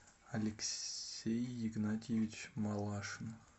алексей игнатьевич малашин